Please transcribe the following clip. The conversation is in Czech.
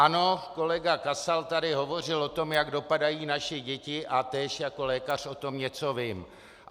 Ano, kolega Kasal tady hovořil o tom, jak dopadají naše děti, a též jako lékař o tom něco vím.